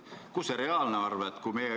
Mis on tegelik summa?